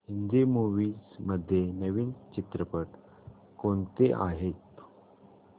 Hindi movies मध्ये नवीन चित्रपट कोणते आहेत